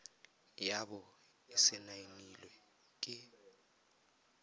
ya bo e saenilwe ke